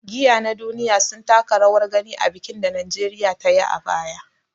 Giya na duniya sun taka rawar gani a bikin da Najeriya ta yi a baya.